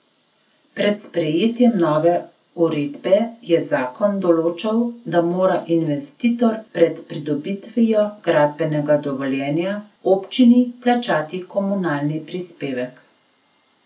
Pred sprejetjem nove uredbe je zakon določal, da mora investitor pred pridobitvijo gradbenega dovoljenja občini plačati komunalni prispevek.